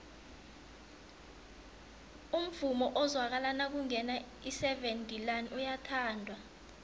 umvumo ozwakala nakungena iseven delaan uyathandwa